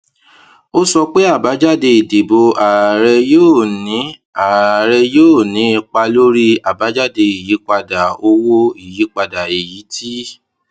ó sọ pé àbájáde ìdìbò ààrẹ yóò ní ààrẹ yóò ní ipa lórí àbájáde ìyípadà owó ìyípadà èyí tí